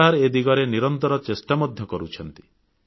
ସରକାର ଏ ଦିଗରେ ନିରନ୍ତର ଚେଷ୍ଟା କରୁଛନ୍ତି